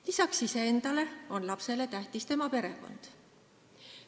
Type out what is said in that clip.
Lisaks iseendale on lapsele tähtis tema perekond.